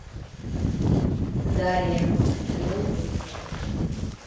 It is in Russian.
дарья сезон восемь